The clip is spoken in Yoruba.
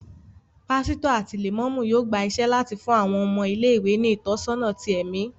Pásítọ̀ àti Lẹ̀mọ́mú yóò gba iṣẹ́ láti fún àwọn ọmọ ilé-ìwé ní ìtọ́sọ́nà tí ẹmi